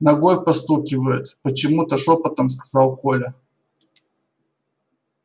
ногой постукивает почему то шёпотом сказал коля